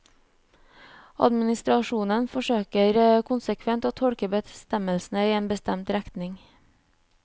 Administrasjonen forsøker konsekvent å tolke bestemmelsene i en bestemt retning.